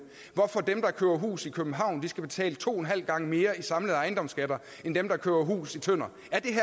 hvorfor dem der køber hus i københavn skal betale to og en halv gange mere i samlede ejendomsskatter end dem der køber hus i tønder